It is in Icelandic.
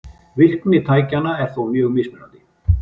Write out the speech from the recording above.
Virkni tækjanna er þó mjög mismunandi.